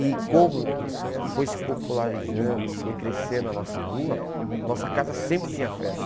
E como foi se popularizando, foi crescendo a nossa rua, a nossa casa sempre tinha festa.